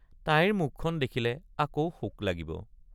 তাইৰ মুখখন দেখিলে আকৌ শোক লাগিব।